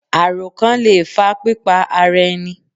Àrókàn le è fa pípa ara ẹni